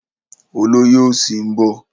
Olóyè òsì ń bọ̀.